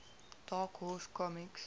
dark horse comics